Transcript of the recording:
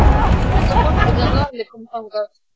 Búðin var full af fólki þegar Lalli kom þangað.